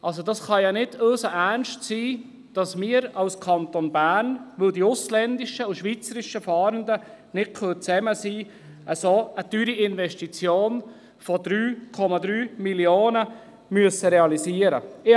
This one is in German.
Also, das kann doch nicht ernst gemeint sei, dass wir als Kanton Bern, weil die ausländischen und schweizerischen Fahrenden nicht beisammen sein können, eine so teure Investition von 3,3 Mio. Franken realisieren müssen!